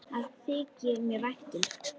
Það þykir mér vænt um.